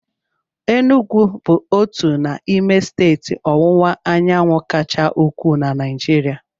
Enugwu bụ otu n'ime steeti ọwụwa anyanwụ kacha ukwuu na Naịjirịa.